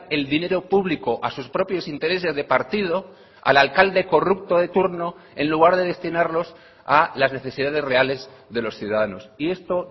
el dinero público a sus propios intereses de partido al alcalde corrupto de turno en lugar de destinarlos a las necesidades reales de los ciudadanos y esto